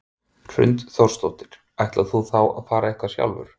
Hrund Þórsdóttir: Ætlar þú að fara eitthvað sjálfur?